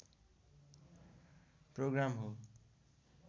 programme हो